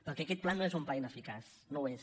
perquè aquest pla no és un pla ineficaç no ho és